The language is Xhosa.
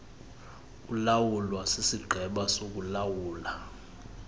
ulawulwa sisigqeba sokuulawula